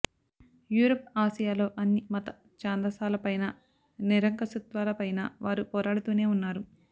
Europe ఆసియాలలో అన్ని మత ఛాందసాల పైన నిరంకుశత్వాల పైన వారు పోరాడుతూనే వున్నారు